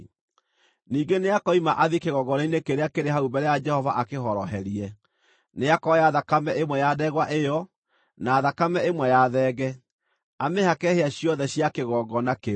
“Ningĩ nĩakoima athiĩ kĩgongona-inĩ kĩrĩa kĩrĩ hau mbere ya Jehova akĩhoroherie. Nĩakoya thakame ĩmwe ya ndegwa ĩyo, na thakame ĩmwe ya thenge, amĩhake hĩa ciothe cia kĩgongona kĩu.